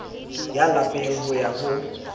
ya lapeng ho ya ho